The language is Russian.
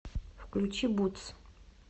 включи бутс